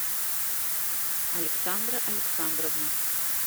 александра александровна